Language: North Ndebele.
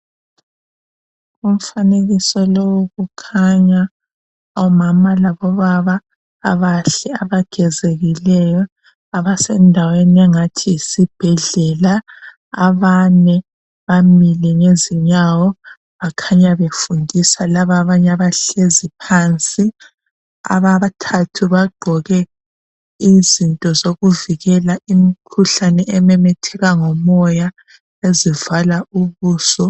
Umfanekiso lowu kukhanya omama labobaba abahlezi abagezekileyo abasendaweni engathi yisibhedlela abane bamile ngezinyawo bakhanya befundisa laba abanye abahlezi phansi abathathu bagqoke izinto zokuvikela imkhuhlane ememetheka ngomoya ezivalela ubuso.